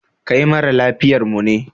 Kai mara lafiyar mu ne?